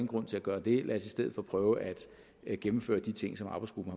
grund til at gøre det lad os i stedet for prøve at gennemføre de ting som arbejdsgruppen